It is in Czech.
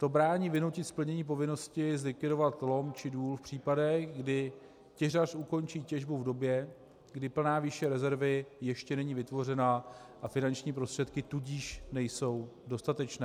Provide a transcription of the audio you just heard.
To brání vynutit splnění povinnosti zlikvidovat lom či důl v případech, kdy těžař ukončí těžbu v době, kdy plná výše rezervy ještě není vytvořena, a finanční prostředky tudíž nejsou dostatečné.